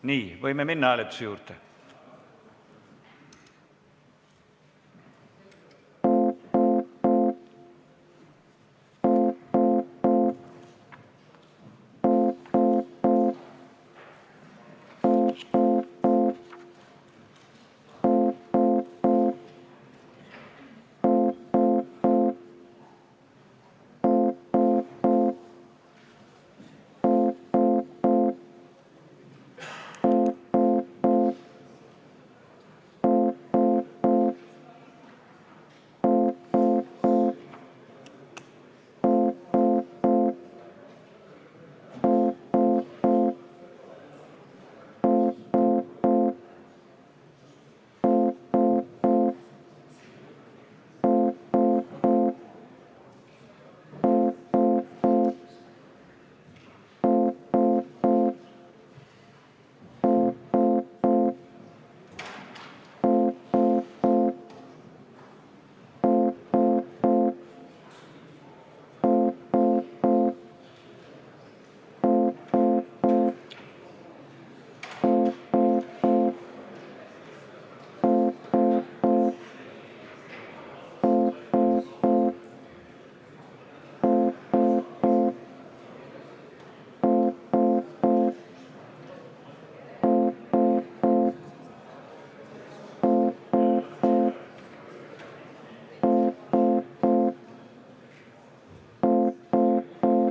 Nii, võime minna hääletuse juurde.